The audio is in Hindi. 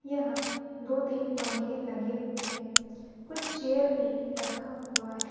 यहां दो तीन पंखे लगे हुए हैं कुछ चेयर भी रखा हुआ है।